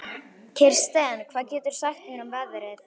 Kirsten, hvað geturðu sagt mér um veðrið?